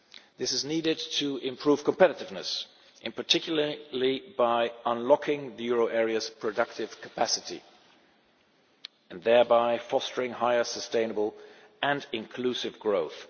This is needed to improve competitiveness, in particular by unlocking the euro area's productive capacity, and thereby fostering higher sustainable and inclusive growth.